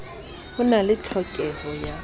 ho na le tlhokeho ya